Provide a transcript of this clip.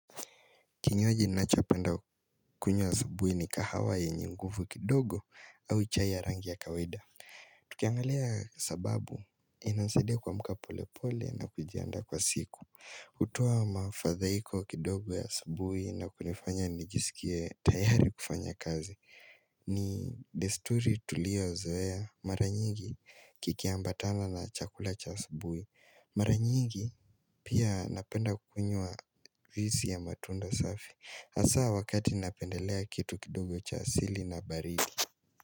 Kinyaji ninachopenda kunywa asabuhi ni kahawa yenye nguvu kidogo au chai ya rangi ya kawaida. Tukiangalia sababu inansaidia kuamka polepole na kujiandaa kwa siku. Kutoa mafadhaiko kidogo ya asubuhi na kunifanya nijisikie tayari kufanya kazi. Ni desturi tulio zoea mara nyingi kikiambatana na chakula cha asubuhi Mara nyingi pia napenda kunywa juisi ya matunda safi. Hasaa wakati napendelea kitu kidogo cha asili na baridi.